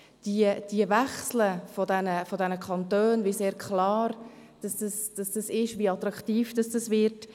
Der Wechsel zwischen den Kantonen, zeigen sehr klar sind, wie es ist, wie attraktiv dies wird.